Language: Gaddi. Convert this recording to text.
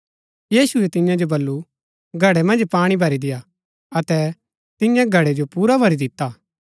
यीशुऐ तियां जो बल्लू घड़ै मन्ज पाणी भरी देआ अतै तियें घड़ै जो पुरा भरी दिता